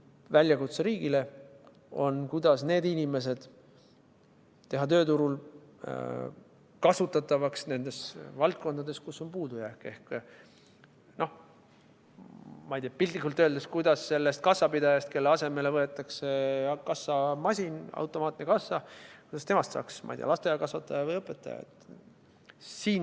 Väljakutse riigile on, kuidas need inimesed teha tööturul kasutatavaks nendes valdkondades, kus on puudujääk ehk, ma ei tea, piltlikult öeldes, kuidas sellest kassapidajast, kelle asemele võetakse kassamasin, automaatne kassa, kuidas temast saaks, ma ei tea, lasteaiakasvataja või õpetaja.